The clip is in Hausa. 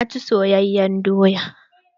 Na ci soyayen doya.